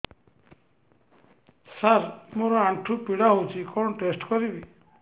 ସାର ମୋର ଆଣ୍ଠୁ ପୀଡା ହଉଚି କଣ ଟେଷ୍ଟ କରିବି